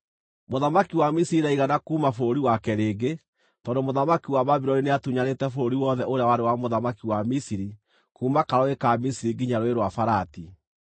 Mũthamaki wa Misiri ndaigana kuuma bũrũri wake rĩngĩ, tondũ mũthamaki wa Babuloni nĩatunyanĩte bũrũri wothe ũrĩa warĩ wa mũthamaki wa Misiri kuuma Karũũĩ ka Misiri nginya Rũũĩ rwa Farati.